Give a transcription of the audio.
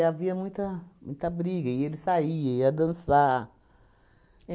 havia muita muita briga, e ele saía, e ia dançar.